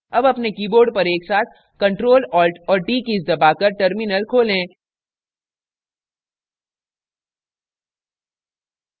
अब अपने keyboard पर एकसाथ ctrl alt और t कीज़ दबाकर terminal खोलें